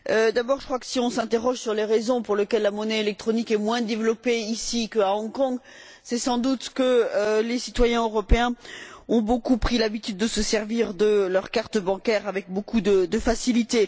D'abord, je crois que si on s'interroge sur les raisons pour lesquelles la monnaie électronique est moins développée ici qu'à Hong Kong, c'est sans doute que les citoyens européens ont pris l'habitude de se servir de leur carte bancaire avec beaucoup de facilité.